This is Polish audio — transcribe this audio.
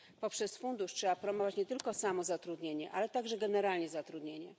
Poprzez Fundusz trzeba promować nie tylko samozatrudnienie, ale także generalnie zatrudnienie.